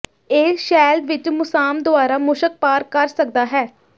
ਇਹ ਸ਼ੈੱਲ ਵਿੱਚ ਮੁਸਾਮ ਦੁਆਰਾ ਮੁਸ਼ਕ ਪਾਰ ਕਰ ਸਕਦਾ ਹੈ